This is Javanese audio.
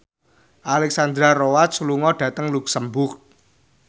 Alexandra Roach lunga dhateng luxemburg